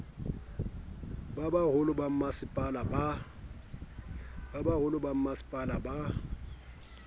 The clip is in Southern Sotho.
ba boholong ba bommasepala ba